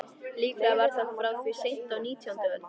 Líklega var það frá því seint á nítjándu öld.